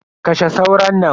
Kashe sauron nan.